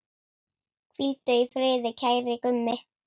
Hvíldu í friði, kæri Gummi.